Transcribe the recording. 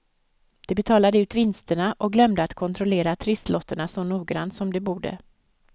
De betalade ut vinsterna och glömde att kontrollera trisslotterna så noggrant som de borde.